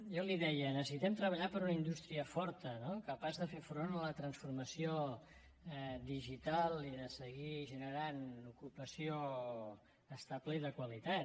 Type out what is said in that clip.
jo li deia necessitem treballar per a una indústria forta no capaç de fer front a la transformació digital i de seguir generant ocupació estable i de qualitat